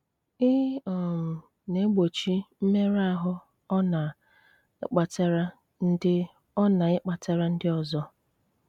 Í um na-égbóchí mmérụ áhụ ọ ná-íkpátárá ndị ọ ná-íkpátárá ndị ọzọ.